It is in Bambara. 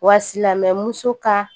Wa silama muso ka